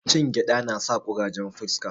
Cin gyada nasa kurajen fuska